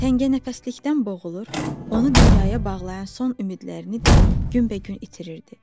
Təngənəfəslikdən boğulur, onu dünyaya bağlayan son ümidlərini də günbəgün itirirdi.